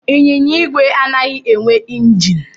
Ịnyịnya igwe anaghị enwe injin.